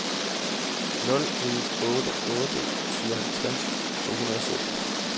nul en otte otte syvoghalvtreds to hundrede og sytten